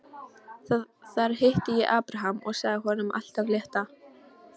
Þar hitti ég Abraham og sagði honum allt af létta.